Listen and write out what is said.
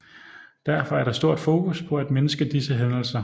Derfor er der stort fokus på at mindske disse hændelser